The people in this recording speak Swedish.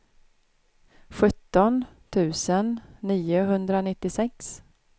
sjutton tusen niohundranittiosex